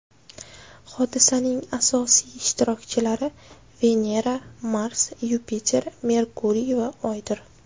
Hodisaning asosiy ishtirokchilari Venera, Mars, Yupiter, Merkuriy va Oydir.